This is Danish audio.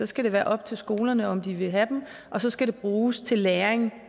skal det være op til skolerne om de vil have dem og så skal de bruges til læring